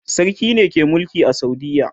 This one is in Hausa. sarki ne ke Mulki a saudiya